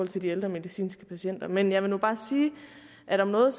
til de ældre medicinske patienter men jeg vil nu bare sige at om noget